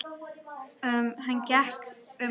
Hann gekk um gólf.